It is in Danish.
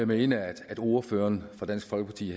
mene at ordføreren for dansk folkeparti